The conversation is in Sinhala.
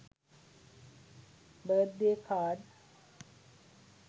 birth day card